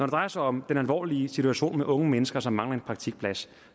drejer sig om den alvorlige situation med unge mennesker som mangler en praktikplads